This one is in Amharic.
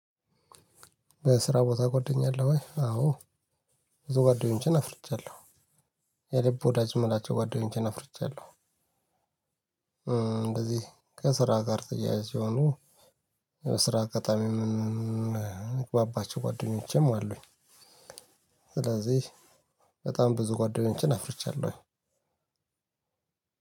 በስራ ቦታ ጎደኛለ አለህ ወይ? አዎ ብዙ ጓደኞቼን አፍርቻለሁ። የልብ ወዳጅ ምላቸው ጓደኞቼን አፍርቻለሁ። እንደዚህ ከስራ ጋር ተያያዥ ሲሆኑ። በስራ አጋጣሚም ምግባባቸው ጓደኞቼም አሉኝ። ስለዚህ በጣም ብዙ ጓደኞችን አፍርቻለሁ።